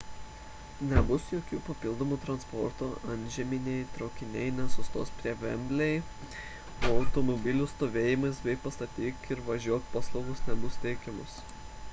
nebus jokio papildomo transporto antžeminiai traukiniai nesustos prie wembley o automobilių stovėjimo bei pastatyk ir važiuok paslaugos nebus teikiamos